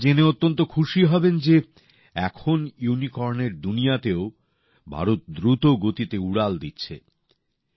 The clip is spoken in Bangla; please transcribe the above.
আপনারা জেনে অত্যন্ত খুশি হবেন যে এখন ইউনিকর্নের দুনিয়াতেও ভারত দ্রুতগতিতে এগিয়ে চলেছে